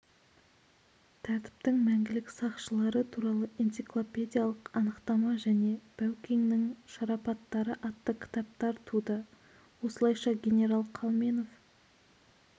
тәртіптің мәңгілік сақшылары туралы энциклопедиялық анықтама және бәукеңнің шарапаттары атты кітаптар туды осылайша генерал қалменов